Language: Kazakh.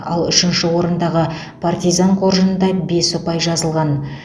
ал үшінші орындағы партизан қоржынында бес ұпай жазылған